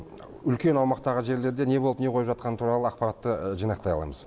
үлкен аумақтағы жерлерде не болып не қойып жатқаны туралы ақпаратты жинақтай аламыз